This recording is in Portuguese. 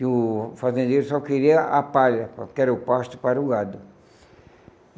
que o fazendeiro só queria a palha, que era o pasto, para o gado.